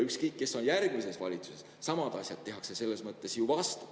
Ükskõik, kes on järgmises valitsuses, samu asju tehakse siis ju nii-öelda vastu.